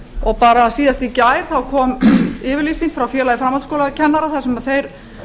og bara síðast í gær kom yfirlýsing frá félagi framhaldsskólakennara þar sem þeir